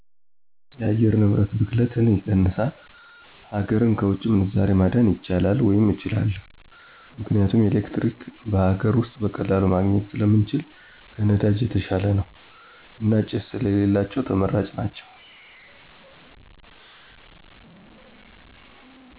የአየር ንብረት ብክለትን ይቀንሳል፣ ሀገርን ከውጭ ምንዛሬ ማዳን ይቻላል ወይም እችላለሁ። ምክንያቱም ኤሌክትሪክ በሀገር ውስጥ በቀላሉ ማግኜት ስለምንችል ከነዳጅ የተሻለ ነው። እና ጭስ ስለሌላቸው ተመራጭ ናቸው።